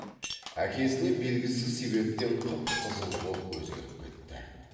әкесіне белгісіз себептен қып қызыл боп өзгеріп кетті